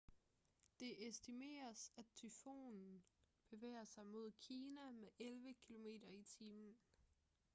det estimeres at tyfonen bevæger sig mod kina med elleve km/t